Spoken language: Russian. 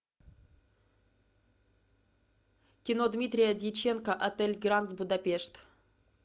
кино дмитрия дьяченко отель гранд будапешт